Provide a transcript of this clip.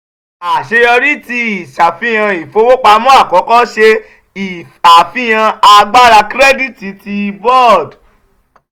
aṣeyọri ti iṣafihan ifowopamọ akọkọ ṣe afihan agbara kirẹditi ti board.